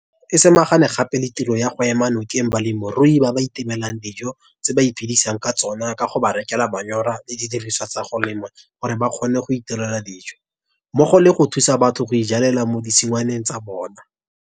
Puso e samagane gape le tiro ya go ema nokeng balemirui ba ba itemelang dijo tse ba iphedisang ka tsona ka go ba rekela manyora le didirisiwa tsa go lema gore ba kgone go itirela dijo, mmogo le go thusa batho go ijalela mo ditshingwaneng tsa bona.